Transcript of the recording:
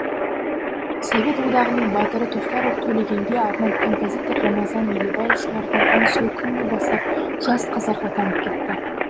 совет одағының батыры тоқтаров төлегенге арнап композитор рамазан елебаев шығарған ән сол күннен бастап жас қазақ атанып кетті